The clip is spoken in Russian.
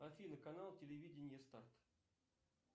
афина канал телевидения старт